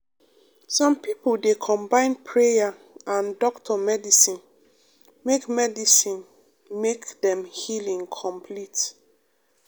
some pipo dey combine prayer and doctor medicine make medicine make dem healing complete.